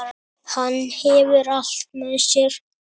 Hann hefur allt með sér.